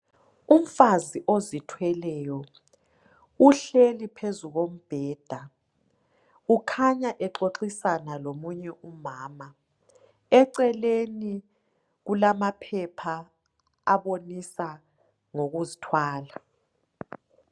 Umfazi ozithweleyo uhleli phezu kombheda ukhanya exoxisana lomunye umama eceleni kulamaphepha abonisa ngokuzithwala.